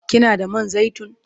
Kina da man zaitun?